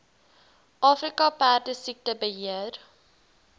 afrika perdesiekte beheer